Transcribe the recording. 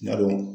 Yadɔ